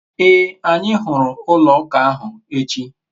ee, anyi huru ulo uka ahu echi